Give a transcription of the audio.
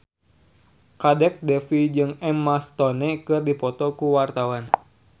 Kadek Devi jeung Emma Stone keur dipoto ku wartawan